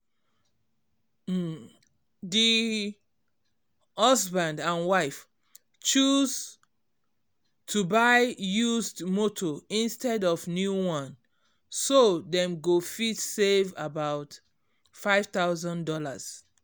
um di husband and wife choose to buy used motor instead of new one so dem go fit save about five thousand dollars